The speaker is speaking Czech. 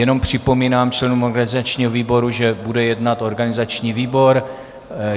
Jenom připomínám členům organizačního výboru, že bude jednat organizační výbor.